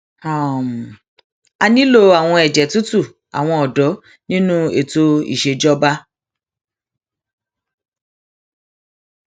a nílò àwọn ẹjẹ tútù àwọn ọdọ nínú ètò ìṣèjọba